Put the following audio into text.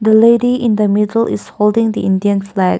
the lady in the middle is holding the indian flag.